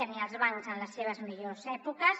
ni els bancs en les seves millors èpoques